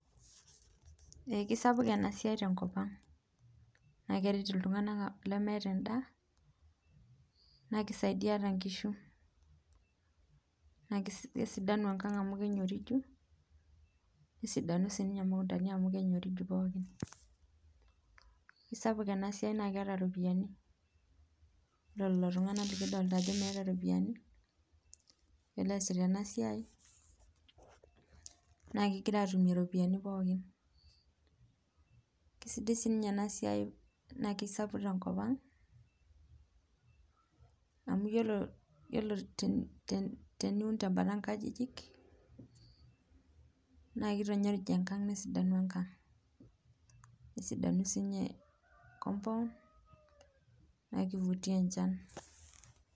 Kesapuk enasiai tenkop aang, nakeret ltunganak lemeeta endaa nakisaidia nkishu nakesidany enkang amu kenyoriju nesidanu sinye ,kesapuk enasiai naa keeta ropiyiani, ore lolotunganak na keeta ropiyiani lolo oasita enasiai nakegira atum ropiyiani pookin, kesidai ninye enasiai tenkop aang amu iyiolo teni te teniun tenkalo nkajijik nakitanyorij enkang nesidanu enkang, nesidanu sinye compound.